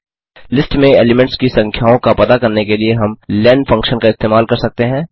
list में elements की संख्याओं का पता करने के लिए हम लेन फंक्शन का इस्तेमाल कर सकते हैं